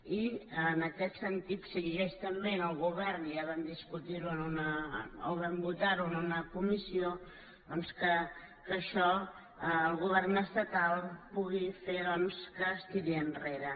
i en aquest sentit s’exigeix també al govern ja ho vam discutir ho o vam votar ho en una comissió doncs que això el govern estatal pugui fer que es tiri enrere